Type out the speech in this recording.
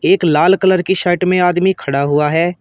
एक लाल कलर की शर्ट में आदमी खड़ा हुआ है।